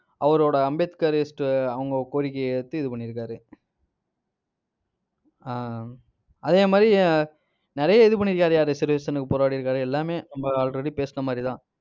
அவரோட அம்பேத்கரிஸ்ட் அவங்க கோரிக்கையை ஏற்று, இது பண்ணியிருக்காரு. ஆஹ் அதே மாதிரி நிறைய இது பண்ணியிருக்காருய்யா reservation க்கு போராடியிருக்காரு எல்லாமே நம்ம already பேசின மாதிரிதான்.